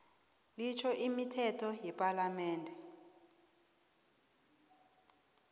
litjho imithetho yepalamende